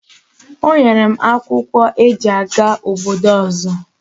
O nyere m akwakwo o no aga obodo ozo